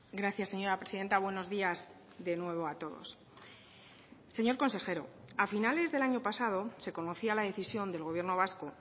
gracias señora presidenta buenos días de nuevo a todos señor consejero a finales del año pasado se conocía la decisión del gobierno vasco